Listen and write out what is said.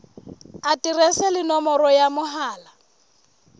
aterese le nomoro ya mohala